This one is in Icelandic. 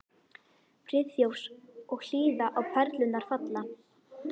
Friðþjófs og hlýða á perlurnar falla.